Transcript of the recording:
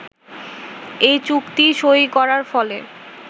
এই চুক্তি সই করার ফলে